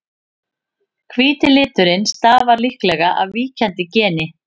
hvíti liturinn stafar líklega af víkjandi geni